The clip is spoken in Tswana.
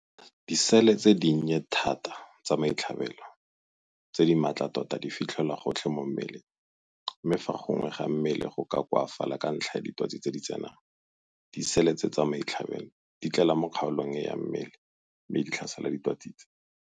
Disele tse dinnye thata tsa maitlhabelo tse di maatla tota di fitlhelwa gotlhe mo mmeleng, mme fa gongwe ga mmele go koafala ka ntlha ya ditwatsi tse di tsenang, disele tse tsa maitlhabelo di tlela mo kgaolong e ya mmele mme di tlhasela ditwatsi tse.